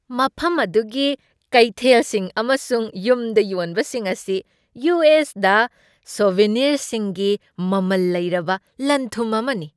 ꯃꯐꯝ ꯑꯗꯨꯒꯤ ꯀꯩꯊꯦꯜꯁꯤꯡ ꯑꯃꯁꯨꯡ ꯌꯨꯝꯗ ꯌꯣꯟꯕꯁꯤꯡ ꯑꯁꯤ ꯌꯨ. ꯑꯦꯁ. ꯗ ꯁꯣꯚꯦꯅꯤꯔꯁꯤꯡꯒꯤ ꯃꯃꯜ ꯂꯩꯔꯕ ꯂꯟꯊꯨꯝ ꯑꯃꯅꯤ ꯫